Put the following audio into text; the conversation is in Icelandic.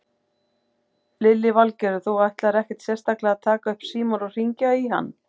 Lillý Valgerður: Þú ætlar ekkert sérstaklega að taka upp símann og hringja í hann?